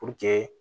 Puruke